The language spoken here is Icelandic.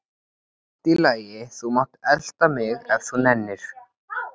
Allt í lagi, þú mátt elta mig ef þú nennir.